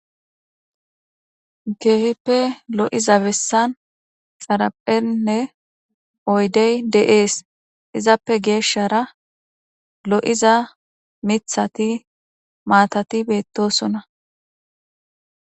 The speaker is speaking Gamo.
Kehippe lo'iza bessan xarapheynne oydey de'es izappe geeshara lo'iza mithati maatati beetosona